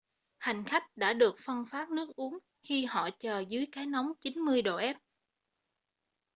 hành khách đã được phân phát nước uống khi họ chờ dưới cái nóng 90 độ f